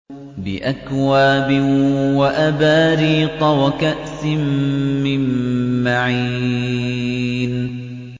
بِأَكْوَابٍ وَأَبَارِيقَ وَكَأْسٍ مِّن مَّعِينٍ